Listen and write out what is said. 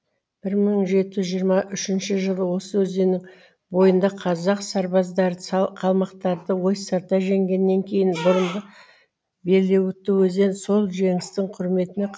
бір мың жеті жүз жиырма үшінші жылы осы өзеннің бойында қазақ сарбаздары қалмақтарды ойсырата жеңгеннен кейін бұрынғы белеуітті өзен сол жеңістің құрметіне